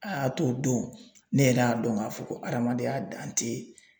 A y'a to don ne yɛrɛ y'a dɔn k'a fɔ ko adamadenya dan tɛ